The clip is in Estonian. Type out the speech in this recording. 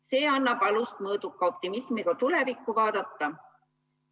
See annab alust mõõduka optimismiga tulevikku vaadata.